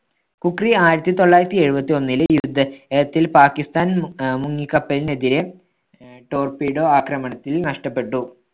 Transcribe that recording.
ഖുക്രീ ആയിരത്തി തൊള്ളായിരത്തി എഴുപത്തൊന്നിലെ യുദ്ധ~ത്തിൽ പാക്കിസ്ഥാൻ മു അ മുങ്ങിക്കപ്പലിനെതിരെ ആഹ് torpedo ആക്രമണത്തിൽ നഷ്ടപ്പെട്ടു.